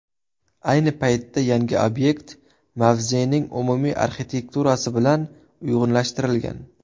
Ayni paytda yangi obyekt mavzening umumiy arxitekturasi bilan uyg‘unlashtirilgan.